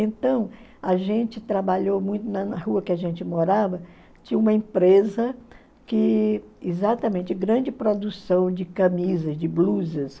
Então, a gente trabalhou muito na rua que a gente morava, tinha uma empresa que, exatamente, grande produção de camisas, de blusas.